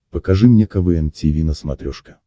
покажи мне квн тиви на смотрешке